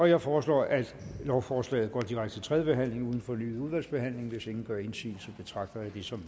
jeg foreslår at lovforslaget går direkte til tredje behandling uden fornyet udvalgsbehandling hvis ingen gør indsigelse betragter jeg det som